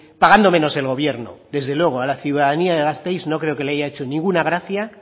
pagando menos el gobierno desde luego a la ciudadanía de gasteiz no creo que le haya hecho ninguna gracia